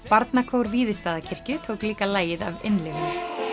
barnakór Víðistaðakirkju tók líka lagið af innlifun